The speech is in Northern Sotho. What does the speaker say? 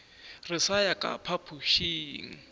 re sa ya ka phapošing